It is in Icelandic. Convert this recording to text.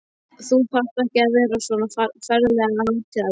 Þú þarft ekki að vera svona ferlega hátíðlegur!